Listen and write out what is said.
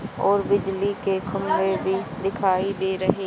और बिजली के खंभे भी दिखाई दे रहे--